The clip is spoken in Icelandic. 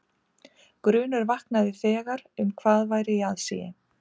Grunur vaknaði þegar um hvað væri í aðsigi.